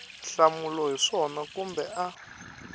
hlamula hi swona kumbe a